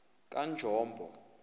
kanjombo